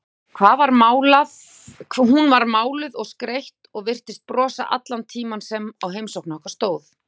Hún var máluð og skreytt og virtist brosa allan tímann sem á heimsókn okkar stóð.